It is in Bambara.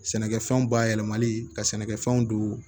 Sɛnɛkɛfɛnw bayɛlɛmali ka sɛnɛkɛfɛnw don